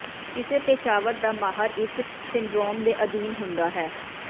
ਕਿਸੇ ਪੇਸ਼ਾਵਰ ਦਾ ਮਾਹਰ ਇਸ ਸਿੰਡਰੋਮ ਦੇ ਅਧੀਨ ਹੁੰਦਾ ਹੈ